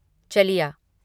चलिया